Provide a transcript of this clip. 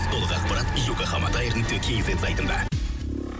толық ақпарат йокогама таэр нүкте кз сайтында